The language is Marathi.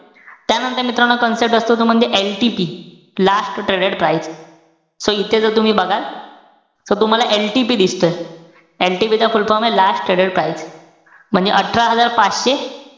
त्यानंतर मित्रांनो, concept असतो तो म्हणजे, LTP last traded price. So इथे जर तुम्ही बघाल, so तुम्हाला LTP दिसतोय. LTP चा full form ए last traded price. म्हणजे अठरा हजार पाचशे,